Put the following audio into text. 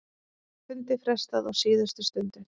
Fundi frestað á síðustu stundu